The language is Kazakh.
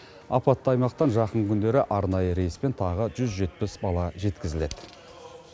апатты аймақтан жақын күндері арнайы рейспен тағы жүз жетпіс бала жеткізіледі